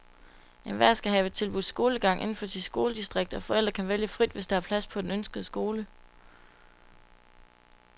Enhver skal have tilbudt skolegang inden for sit skoledistrikt, og forældre kan vælge frit, hvis der er plads på den ønskede skole.